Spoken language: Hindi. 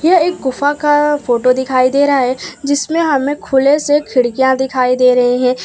यह एक गुफा का फोटो दिखाई दे रहा है जिसमें हमें खुले से खिड़कियां दिखाई दे रहे है।